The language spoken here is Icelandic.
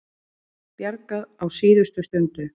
Bjargað á síðustu stundu